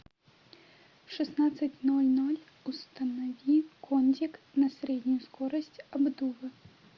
в шестнадцать ноль ноль установи кондик на среднюю скорость обдува